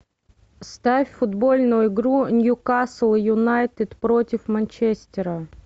ставь футбольную игру ньюкасл юнайтед против манчестера